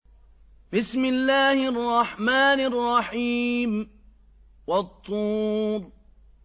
وَالطُّورِ